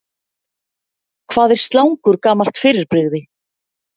Hvað er slangur gamalt fyrirbrigði?